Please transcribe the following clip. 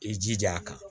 I jija a kan